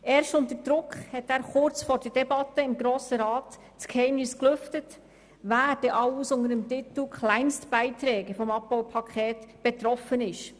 Erst unter Druck lüftete er erst kurz vor der Debatte im Grossen Rat das Geheimnis, wer denn alles unter dem Titel Kleinstbeiträge vom Abbaupaket betroffen ist.